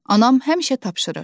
Anam həmişə tapşırır.